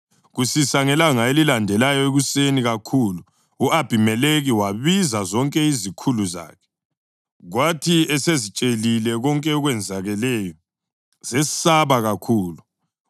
Kusisa ngelanga elilandelayo ekuseni kakhulu, u-Abhimelekhi wabiza zonke izikhulu zakhe, kwathi esezitshelile konke okwenzakeleyo, zesaba kakhulu.